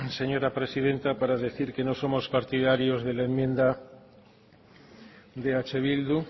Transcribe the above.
señora presidenta para decir que no somos partidarios de la enmienda de eh bildu